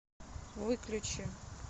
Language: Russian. выключи